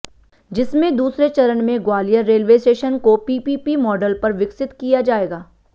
जिसमें दूसरे चरण में ग्वालियर रेलवे स्टेशन को पीपीपी मॉडल पर विकसित किया जाएगा